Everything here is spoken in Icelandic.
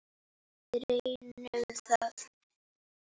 Við reynum það.